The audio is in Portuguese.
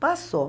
Passou.